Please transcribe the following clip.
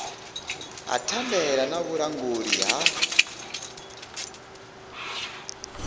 ha thandela na vhulanguli ha